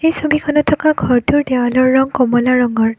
এই ছবিখনত থকা ঘৰটোৰ দেৱালৰ ৰং কমলা ৰঙৰ।